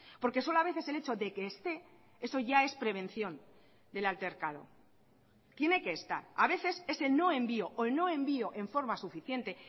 porque solo a veces el hecho de que esté eso ya es prevención del altercado tiene que estar a veces ese no envío o no envío en forma suficiente